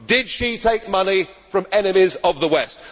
Did she take money from enemies of the